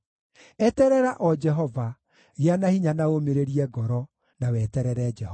Eterera o Jehova: gĩa na hinya na ũũmĩrĩrie ngoro, na weterere Jehova.